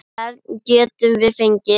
Hvern getum við fengið?